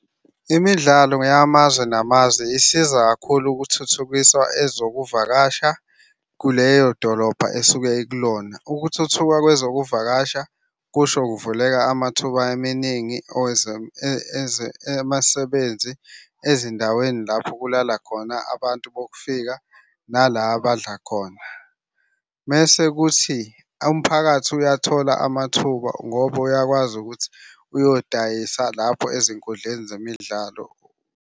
Imidlalo yamazwe namazwe isiza kakhulu ukuthuthukisa ezokuvakasha kuleyo dolobha esuke ikulona. Ukuthuthuka kwezokuvakasha kusho kuvuleka amathuba eminingi amasebenzi, ezindaweni lapho kulala khona abantu bokufika nala abadla khona. Mese kuthi umphakathi uyathola amathuba ngoba uyakwazi ukuthi uyodayisa lapho ezinkundleni zemidlalo.